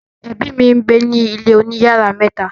ẹbi mí ngbẹ ní ilè òní iyàrá mẹta